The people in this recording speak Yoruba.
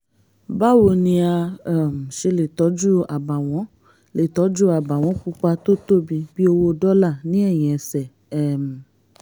báwo ni a um ṣe lè tọ́jú àbàwọ́n lè tọ́jú àbàwọ́n pupa tó tóbi bí owó dọ́là ní ẹ̀yìn ẹsẹ̀? um